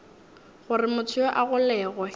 gore motho yoo a golegwe